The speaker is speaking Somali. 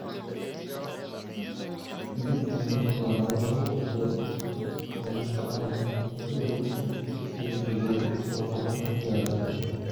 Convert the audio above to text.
Mid ka mid ah calaamadaha lagu garto miridhku caleen gallayda iyo galleydu waa caleen jaalle ah.